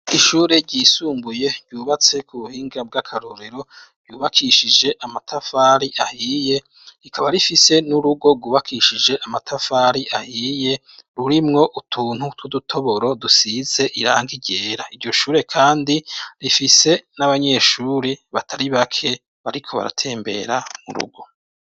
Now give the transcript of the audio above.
Ishure ryisumbuye ryubatse ku buhinga bw'akarorero, yubakishije amatafari ahiye rikaba rifise n'urugo gubakishije amatafari ahiye rurimwo utuntu twudutoboro dusize irangi ryera. Iryoshure kandi rifise n'abanyeshuri batari bake bariko baratembera mu rugo.